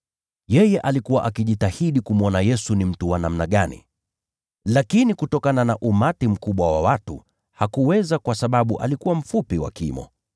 Yeye alikuwa akijitahidi kumwona Yesu ni mtu wa namna gani. Lakini kutokana na umati mkubwa wa watu hakuweza kwa sababu alikuwa mfupi wa kimo.